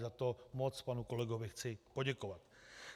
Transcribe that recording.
Za to moc panu kolegovi chci poděkovat.